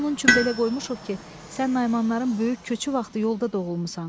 Adını onun üçün belə qoymuşuq ki, sən Naymanların böyük köçü vaxtı yolda doğulmusan.